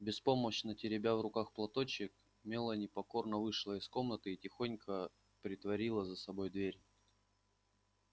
беспомощно теребя в руках платочек мелани покорно вышла из комнаты и тихонько притворила за собой дверь